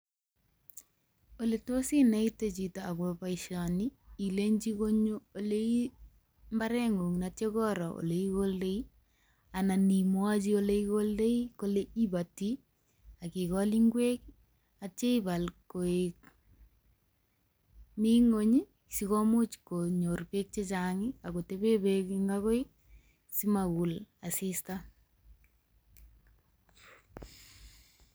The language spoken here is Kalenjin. Oletos ineite chito akopo boishoni ilenchi konyo olei mbareng'ung atya koro oleikoldoi anan imwochi oleikoldoi kole ipoti akikol ng'wek atya ipat koek mi ng'uny sikomuch konyor beek chechang akotepe beek ing akoi simakul asista.